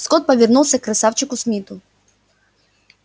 скотт повернулся к красавчику смиту